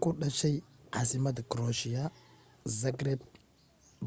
ku dhashay casimada croatia zagreb